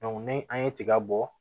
ni an ye tiga bɔ